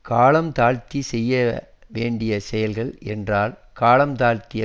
காலம் தாழ்த்திச் செய்ய வேண்டிய செயல்கள் என்றால் காலம் தாழ்த்துக